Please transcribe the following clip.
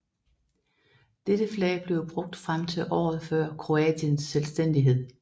Dette flag blev brugt frem til året før Kroatiens selvstændighed